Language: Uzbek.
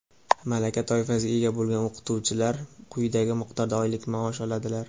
malaka toifasiga ega bo‘lgan o‘qituvchilar quyidagi miqdorda oylik maosh oladilar:.